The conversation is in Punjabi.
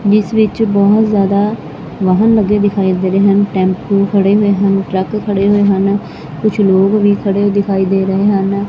ਇਸ ਵਿੱਚ ਬਹੁਤ ਜਿਆਦਾ ਵਾਹਣ ਲੱਗੇ ਦਿਖਾਈ ਦੇ ਰਹੇ ਹਨ ਟੈਂਪੂ ਖੜੇ ਹੋਏ ਹਨ ਟਰੱਕ ਖੜੇ ਹੋਏ ਹਨ ਕੁਝ ਲੋਕ ਵੀ ਖੜੇ ਦਿਖਾਈ ਦੇ ਰਹੇ ਹਨ।